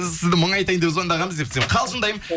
сізді мұңайтайын деп звондағанбыз десең қалжындаймын